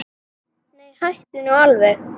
Nei, hættu nú alveg.